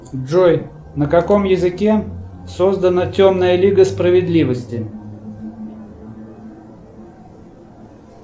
джой на каком языке создана темная лига справедливости